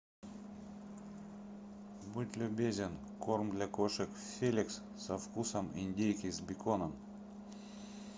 будь любезен корм для кошек феликс со вкусом индейки с беконом